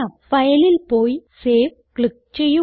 Fileൽ പോയി save click ചെയ്യുക